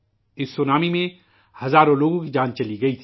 اس tsunami میں ہزاروں لوگوں کی جانیں چلی گئی تھیں